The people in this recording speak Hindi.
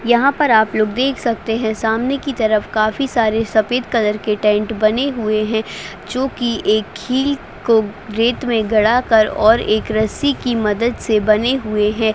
यहाँ पर आप लोग देख सकते है सामने की तरफ काफी सारे सफेद कलर के टेंट बने हुए है जो की एक खील को रेत में गड़ा कर और एक रस्सी की मदद से बने हुए है।